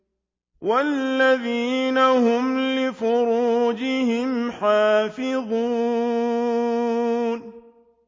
وَالَّذِينَ هُمْ لِفُرُوجِهِمْ حَافِظُونَ